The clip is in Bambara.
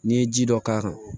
N'i ye ji dɔ k'a kan